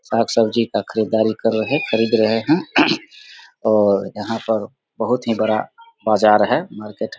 सब्जी-साग का खरीददारी कर रहे खरीद रहे है और यहाँ पर बोहत ही बड़ा बाजार है मार्केट ।